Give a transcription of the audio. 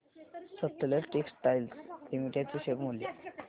Sutlej Textiles Limited चे share मूल्य